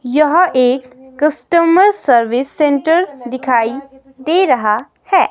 यह एक customer service centre दिखाई दे रहा है.